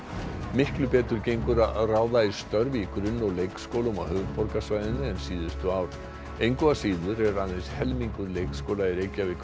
miklu betur gengur að ráða í störf í grunn og leikskólum á höfuðborgarsvæðinu en síðustu ár engu að síður er aðeins helmingur leikskóla í Reykjavík